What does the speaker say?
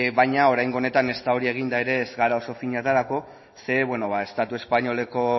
baina oraingo honetan ezta hori eginda ere ez gara oso fin aterako zeren estatu espainoleko